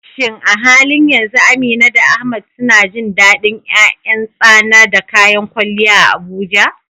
Shin a halin yanzu Amina da Ahmad suna jin dadin ’yan ’yan tsana da kayan kwalliya a Abuja?